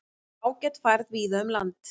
Ágæt færð víða um land